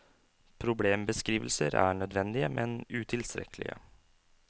Problembeskrivelser er nødvendige, men utilstrekkelige.